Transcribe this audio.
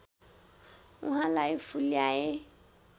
उहाँलाई फुल्याए